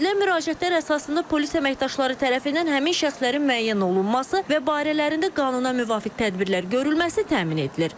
Edilən müraciətlər əsasında polis əməkdaşları tərəfindən həmin şəxslərin müəyyən olunması və barələrində qanuna müvafiq tədbirlər görülməsi təmin edilir.